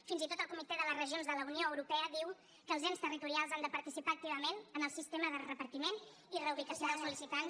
fins i tot el comitè de les regions de la unió europea diu que els ens territorials han de participar activament en el sistema de repartiment i reubicació dels sol·licitants